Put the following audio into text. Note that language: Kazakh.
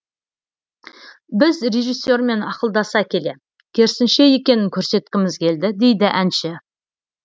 біз режиссермен ақылдаса келе керісінше екенін көрсеткіміз келді дейді әнші